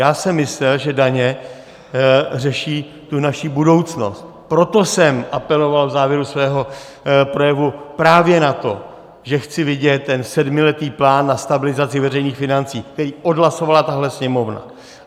Já jsem myslel, že daně řeší tu naši budoucnost, proto jsem apeloval v závěru svého projevu právě na to, že chci vidět ten sedmiletý plán na stabilizaci veřejných financí, který odhlasovala tahle Sněmovna.